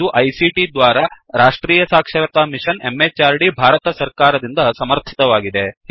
ಇದು ಐಸಿಟಿ ದ್ವಾರಾ ರಾಷ್ಟ್ರೀಯ ಸಾಕ್ಷರತಾ ಮಿಶನ್ ಎಂಎಚಆರ್ಡಿ ಭಾರತ ಸರ್ಕಾರ ದಿಂದ ಸಮರ್ಥಿತವಾಗಿದೆ